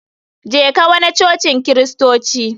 Jeka wana cocin kristoci.